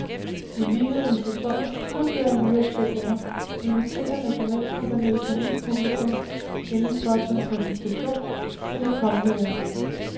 I lighed med sæsonens tidligere nyopsætninger inviterer nationalkompagniet på ny publikum indenfor til en præsentation af det kommende værk.